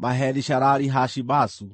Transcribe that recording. Maheri-Shalali-Hashi-Bazu.